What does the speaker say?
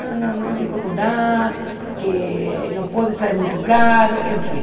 Não, não, não, não, não dá, que não pode, sai muito caro, enfim.